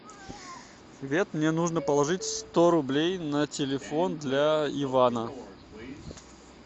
привет мне нужно положить сто рублей на телефон для ивана